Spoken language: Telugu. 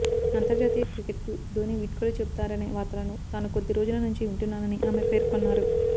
అంతర్జాతీయ క్రికెట్కు ధోనీ వీడ్కోలు చెబుతారనే వార్తలను తాను కొద్దిరోజుల నుంచి వింటున్నానని ఆమె పేర్కొన్నారు